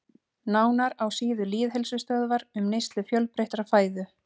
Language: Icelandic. Nánar á síðu Lýðheilsustöðvar um neyslu fjölbreyttrar fæðu.